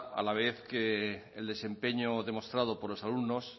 a la vez que el desempeño demostrado por los alumnos